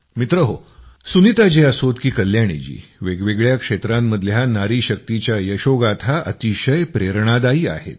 मित्रहो सुनीताजी असोत की कल्याणीजी वेगवेगळ्या क्षेत्रांमधल्या नारीशक्तीच्या यशोगाथा अतिशय प्रेरणादायी आहेत